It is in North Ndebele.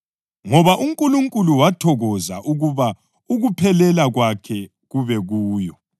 Ngoba uNkulunkulu wathokoza ukuba ukuphelela kwakhe kube kuyo